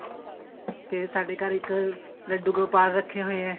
ਤੇ ਸਾਡੇ ਘਰ ਇੱਕ ਲੱਡੂ ਗੋਪਾਲ ਰੱਖੇ ਹੋਏ ਏ